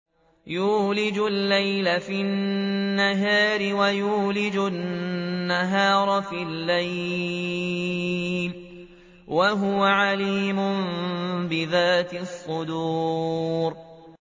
يُولِجُ اللَّيْلَ فِي النَّهَارِ وَيُولِجُ النَّهَارَ فِي اللَّيْلِ ۚ وَهُوَ عَلِيمٌ بِذَاتِ الصُّدُورِ